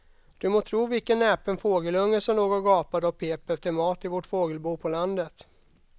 Du må tro vilken näpen fågelunge som låg och gapade och pep efter mat i vårt fågelbo på landet.